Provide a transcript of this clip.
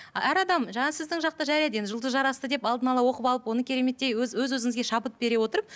әр адам жаңағы сіздің жақта жарайды енді жұлдыз жарасты деп алдын ала оқып алып оны кереметтей өз өз өзіңізге шабыт бере отырып